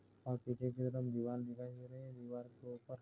आप एक दीवार दिखाइ दे रहा है दीवार के ऊपर --